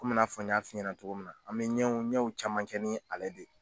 Komi i n'a fɔ n y'a f'i ɲɛna cogo min na an bɛ ɲɛw ɲɛw caman kɛ ni ale de